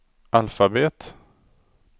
alfabet